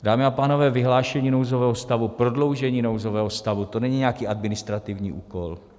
Dámy a pánové, vyhlášení nouzového stavu, prodloužení nouzového stavu, to není nějaký administrativní úkol.